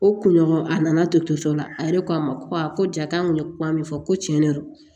O kunɲɔgɔn a nana to to la a yɛrɛ ko a ma ko ja k'an kun ye kuma min fɔ ko tiɲɛ de don